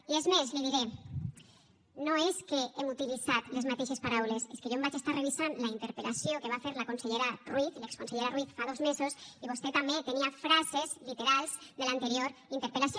i és més li diré no és que hem utilitzat les mateixes paraules és que jo em vaig estar revisant la interpel·lació que va fer la consellera ruiz l’exconsellera ruiz fa dos mesos i vostè també tenia frases literals de l’anterior interpel·lació